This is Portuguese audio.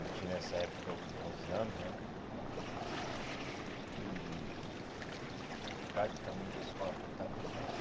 Eu tinha nessa época o quê onze anos né e e praticamente a escola toda estava em festa.